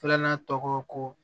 Filanan tɔgɔ ko